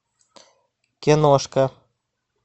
киношка